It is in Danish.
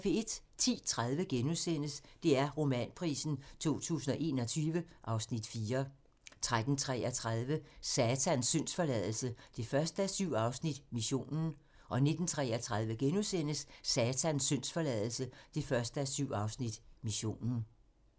10:30: DR Romanprisen 2021 (Afs. 4)* 13:33: Satans syndsforladelse 1:7 – Missionen 19:33: Satans syndsforladelse 1:7 – Missionen *